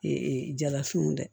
jalafinw dɛ